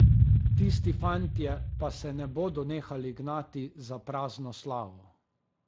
Tisti fantje pa se ne bodo nehali gnati za prazno slavo.